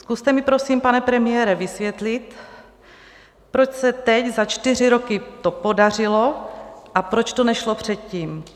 Zkuste mi, prosím, pane premiére, vysvětlit, proč se teď za čtyři roky to podařilo a proč to nešlo předtím?